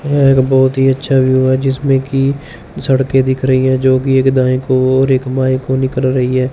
यह एक बहुत ही अच्छा व्यू है जिसमें की सड़के दिख रही हैं जोकि एक दाएं को और एक बाएँ को निकल रही है।